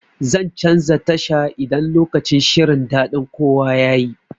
Zan canza tasha idan lokacin shirin daɗin kowa yayi.